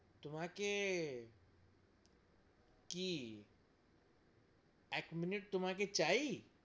তোমাকে কি এক মিনিট তোমাকে চাই!